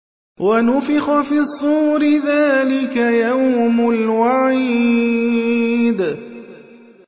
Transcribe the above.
وَنُفِخَ فِي الصُّورِ ۚ ذَٰلِكَ يَوْمُ الْوَعِيدِ